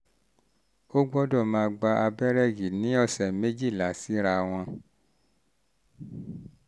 ó gbọ́dọ̀ máa gba abẹ́rẹ́ yìí ní ọ̀sẹ̀ méjìlá síra wọn